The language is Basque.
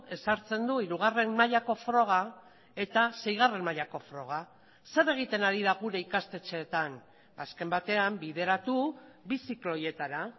ezartzen du hirugarren mailako froga eta seigarren mailako froga zer egiten ari da gure ikastetxeetan azken batean bideratu bi ziklo horietara